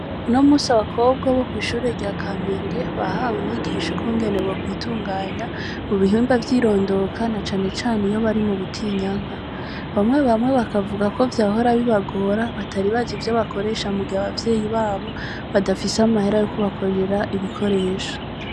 Unomunsi, abakobwa bo kw’ishure rya Kamenge, bahawe inyigisho ukungene bokwitunganya mu bihimba vy’irondoka, na cane cane iyo bari mu butinyanka. Bamwe bamwe bakavuga ko vyahora bibagora, batari bazi ivyo bakoresha, mu gihe abavyeyi babo, badafise amahera yo kubagurira ibikoresho.